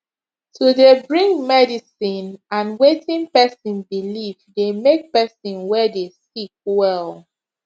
to dey bring medicine and wetin pesin believe dey make pesin wey dey sick well